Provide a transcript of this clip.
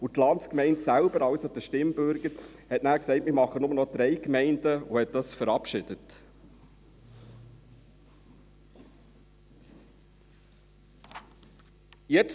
Die Landsgemeinde selbst – also der Stimmbürger – sagte nachher «Wir machen nur noch drei Gemeinden» und verabschiedete dies.